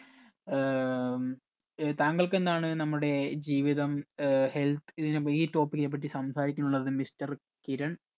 ഏർ ഉം ഏർ താങ്കൾക്ക് എന്താണ് നമ്മുടെ ജീവിതം ഏർ health ഏർ ഇതിന ഈ topic നെ പറ്റി സംസാരിക്കാനുള്ളത് mister കിരൺ